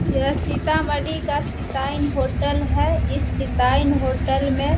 यह सीतामढ़ी का सिटाइन होटल हैं। इस सिटाइन होटल में --